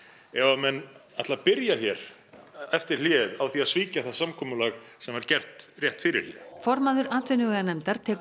ef að menn ætla að byrja hér eftir hlé á því að svíkja það samkomulag sem var gert rétt fyrir hlé formaður atvinnuveganefndar tekur